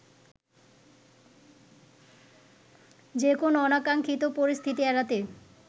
যেকোনো অনাকাঙ্ক্ষিত পরিস্থিতি এড়াতে